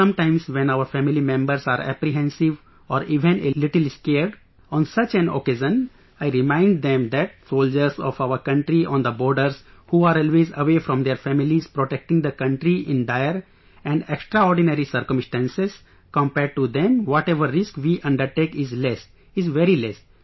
Sometimes when our family members are apprehensive or even a little scared, on such an occasion, I remind them that the soldiers of our country on the borders who are always away from their families protecting the country in dire and extraordinary circumstances, compared to them whatever risk we undertake is less, is very less